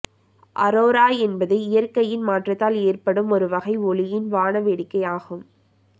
அரோரா என்பது இயற்கையின் மாற்றத்தால் ஏற்படும் ஒரு வகை ஒளியின் வாண வேடிக்கை ஆகும்